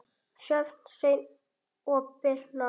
Sjöfn, Sveinn og Birna.